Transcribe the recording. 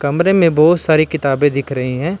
कमरे में बहुत सारी किताबें दिख रही हैं।